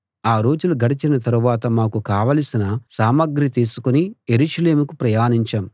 ఆ రోజులు గడచిన తరువాత మాకు కావలసిన సామగ్రి తీసుకుని యెరూషలేముకు ప్రయాణించాం